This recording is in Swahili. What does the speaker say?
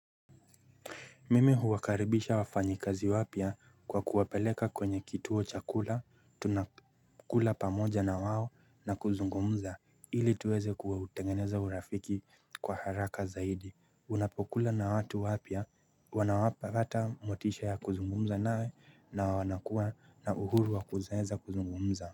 Mimi huwa karibisha wafanyi kazi wapya kwa kuwapeleka kwenye kituo cha kula, tunakula pamoja na wao na kuzungumza, ili tuweze kutengeneza urafiki kwa haraka zaidi. Unapokula na watu wapya wanapata motisha ya kuzungumza nawe na wanakuwa na uhuru wa kueza kuzungumza.